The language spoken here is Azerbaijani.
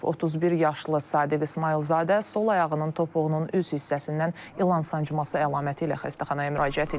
31 yaşlı Sadiq İsmayılzadə sol ayağının topuğunun üz hissəsindən ilan sancması əlaməti ilə xəstəxanaya müraciət edib.